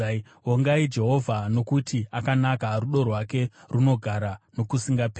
Vongai Jehovha, nokuti akanaka; rudo rwake runogara nokusingaperi.